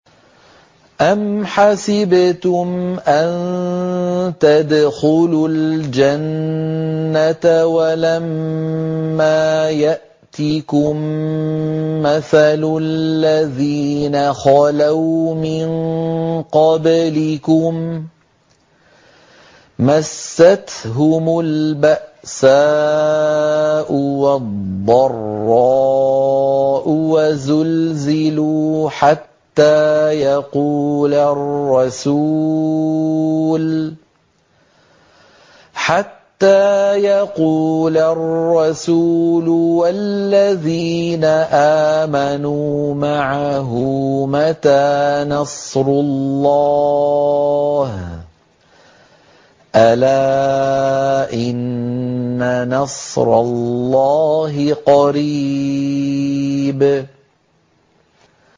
أَمْ حَسِبْتُمْ أَن تَدْخُلُوا الْجَنَّةَ وَلَمَّا يَأْتِكُم مَّثَلُ الَّذِينَ خَلَوْا مِن قَبْلِكُم ۖ مَّسَّتْهُمُ الْبَأْسَاءُ وَالضَّرَّاءُ وَزُلْزِلُوا حَتَّىٰ يَقُولَ الرَّسُولُ وَالَّذِينَ آمَنُوا مَعَهُ مَتَىٰ نَصْرُ اللَّهِ ۗ أَلَا إِنَّ نَصْرَ اللَّهِ قَرِيبٌ